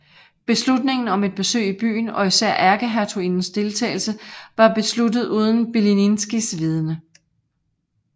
Beslutningen om et besøg i byen og især ærkehertugindens deltagelse var besluttet uden Bilińskis vidende